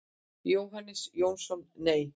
Jóhannes Jónsson: Nei.